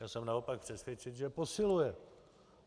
Já jsem naopak přesvědčen, že posiluje.